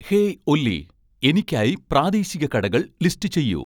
hey Olly എനിക്കായി പ്രാദേശിക കടകൾ ലിസ്റ്റ് ചെയ്യൂ